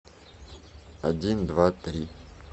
один два три